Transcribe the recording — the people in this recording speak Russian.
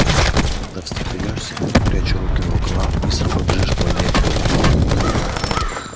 тогда встрепенёшься и пряча руки в рукава быстро побежишь по аллее к дому